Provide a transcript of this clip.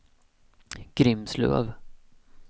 Grimslöv